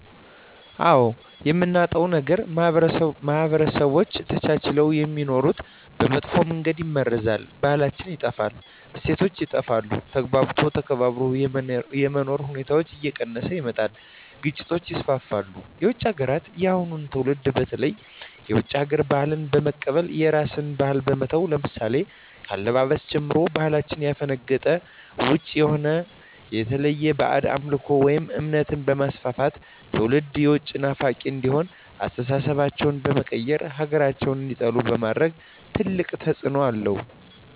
አዎ የምናጣው ነገር ማህበረሰቦች ተቻችለው የሚኖሩትን በመጥፎ መንገድ ይመርዛል , ባህላችን ይጠፋል, እሴቶች ይጠፋሉ, ተግባብቶ ተከባብሮ የመኖር ሁኔታዎች እየቀነሰ ይመጣል ግጭቶች ይስፋፋሉ። የውጭ ሀገራትን የአሁኑ ትውልድ በተለይ የውጭ ሀገር ባህልን በመቀበል የራስን ባህል በመተው ለምሳሌ ከአለባበስ ጀምሮ ከባህላችን ያፈነገጠ ውጭ የሆነ የተለያዩ ባህድ አምልኮቶችን ወይም እምነት በማስፋፋት ትውልድም የውጭ ናፋቂ እንዲሆኑ አስተሳሰባቸው በመቀየር ሀገራቸውን እንዲጠሉ በማድረግ ትልቅ ተፅዕኖ አለው።